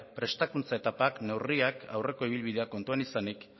prestakuntza eta neurriak aurreko ibilbidea kontuan izanik